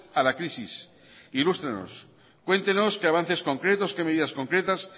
a la crisis ilústrenos cuéntenos qué avances concretos qué medidas concretas